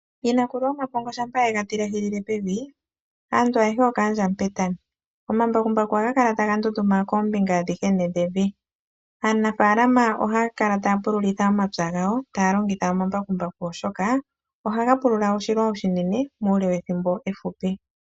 Yinakulu yomapongo shampa ye ga tilehilile pevi, aantu ayehe okaandja Mupetami. Omambakumbaku ohaga kala taga ndunduma koombinga adhihe ne dhevi. Aanafaalama ohaya kala taya pululitha omapya gawo taya longitha omambakumbaku, oshoka ohaga pulula oshilwa oshinene muule wethimbo efupi.